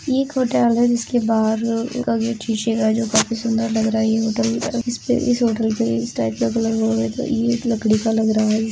ये एक होटल है जिसके बाहर एक शीशे का है जो काफी सुन्दर लग रहा है। यह होटल इस होटल पे इस टाइप का कलर हो रहा है तो ये एक लकड़ी का लग रहा है।